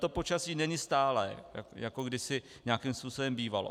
To počasí není stálé, jako kdysi nějakým způsobem bývalo.